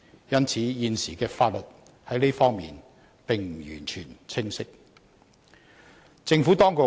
因此，現時的法例在這方面並不完全清晰。